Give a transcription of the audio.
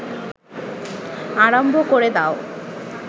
আরম্ভ ক’রে দাও